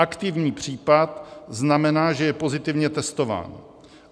Aktivní případ znamená, že je pozitivně testován.